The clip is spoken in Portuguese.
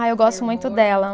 Ah, eu gosto muito dela.